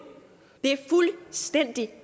er